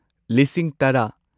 ꯂꯤꯁꯤꯡ ꯇꯔꯥ